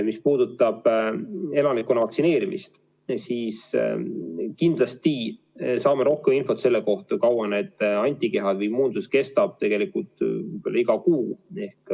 Mis puudutab elanikkonna vaktsineerimist, siis kindlasti saame rohkem infot selle kohta, kui kaua need antikehad ja immuunsus kestavad, tegelikult iga kuu.